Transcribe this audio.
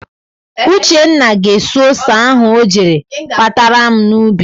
Uchenna ga-esu ose ahụ o jere kpatara m n'ubi.